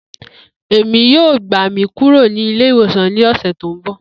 Emi yoo gba mi kuro ni ile-iwosan ni ọsẹ ti n bọ.